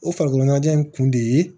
O farikolo ɲɛnajɛ in kun de ye